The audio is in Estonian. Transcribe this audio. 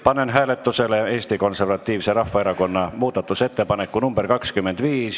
Panen hääletusele Eesti Konservatiivse Rahvaerakonna muudatusettepaneku nr 25.